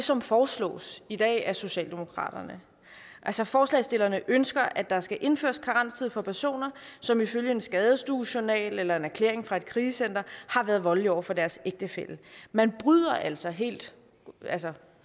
som foreslås i dag af socialdemokratiet altså forslagsstillerne ønsker at der skal indføres en karenstid for personer som ifølge en skadestuejournal eller en erklæring fra et krisecenter har været voldelige over for deres ægtefælle man bryder altså helt